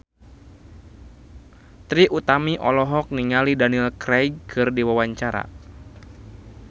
Trie Utami olohok ningali Daniel Craig keur diwawancara